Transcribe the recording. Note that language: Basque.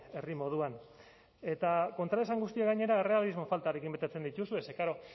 herri moduan eta kontraesan guztiak gainera errealismo faltarekin betetzen dituzue ze klaro